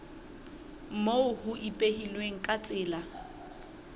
moo ho ipehilweng ka tsela